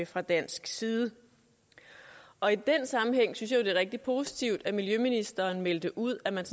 fra dansk side og i den sammenhæng synes jeg er rigtig positivt at miljøministeren meldte ud at man